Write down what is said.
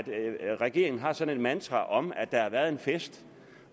regeringen har sådan et mantra om at der har været en fest